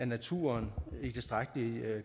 naturen i tilstrækkelig